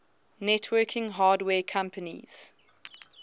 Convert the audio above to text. networking hardware companies